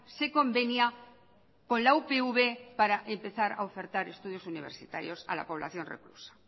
se convenia con la upv para empezar a ofertar estudios universitarios a la población reclusa